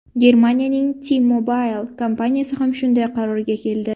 Germaniyaning T-Mobile kompaniyasi ham shunday qarorga keldi.